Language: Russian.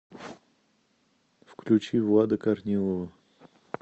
включи влада корнилова